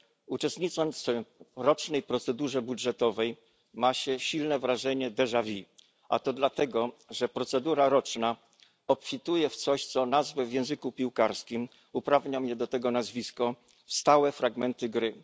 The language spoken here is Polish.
Uczestnicząc w rocznej procedurze budżetowej, ma się silne wrażenie a to dlatego, że procedura roczna obfituje w coś, co nazwę w języku piłkarskim uprawnia mnie do tego nazwisko stałymi fragmentami gry.